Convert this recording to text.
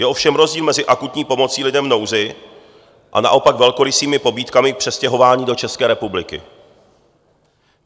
Je ovšem rozdíl mezi akutní pomocí lidem v nouzi a naopak velkorysými pobídkami k přestěhování do České republiky.